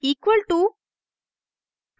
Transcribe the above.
= equal to